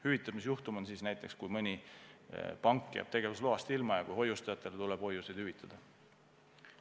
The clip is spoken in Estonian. Hüvitamisjuhtum on näiteks siis, kui mõni pank jääb tegevusloast ilma ja hoiustajatele tuleb hoiuseid hüvitada.